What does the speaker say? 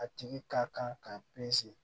A tigi ka kan k'a